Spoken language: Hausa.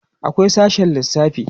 akwai sashe lissafi